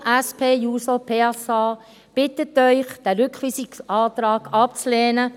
Die Fraktion SP-JUSO-PS bittet Sie, diesen Rückweisungsantrag abzulehnen.